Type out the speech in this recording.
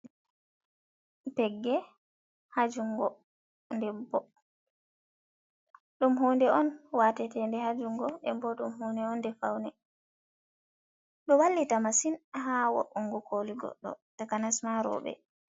Pegge ha jungo debbo, ɗum hunde on watetede hajungo, ɗenbo ɗum hude on ɗe faune, do wallita masin ha wo'ungo koli godɗo takanasma roɓe.